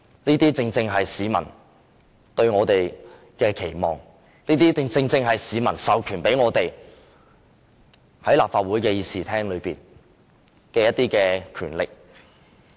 這正是市民對我們的期望，亦是市民授予我們在立法會的權力。